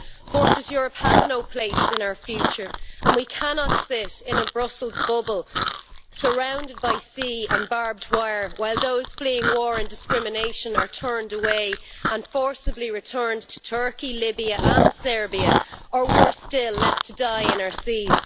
Fortress Europe' has no place in our future and we cannot sit in a Brussels bubble, surrounded by sea and barbed wire, while those fleeing war and discrimination are turned away and forcibly returned to Turkey, Libya and Serbia, or worse still, left to die in our seas.